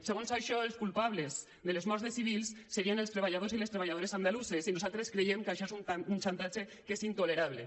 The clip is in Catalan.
segons això els culpables de les morts de civils serien els treballadors i les treballadores andalusos i nosaltres creiem que això és un xantatge que és intolerable